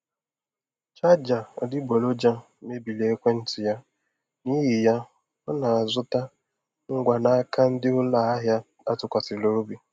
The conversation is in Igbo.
Chaja adịgboroja mebiri ekwentị ya, n'ihi ya ọ na-azụta ngwa n'aka ndị ụlọ ahịa atụkwasịrị obi.